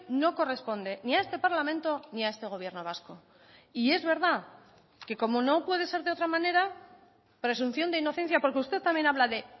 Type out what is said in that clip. no corresponde ni a este parlamento ni a este gobierno vasco y es verdad que como no puede ser de otra manera presunción de inocencia porque usted también habla de